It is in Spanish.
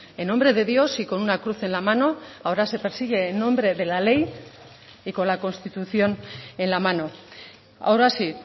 en nombre de dios y con una cruz en la mano ahora se persigue en nombre de la ley y con la constitución en la mano ahora sí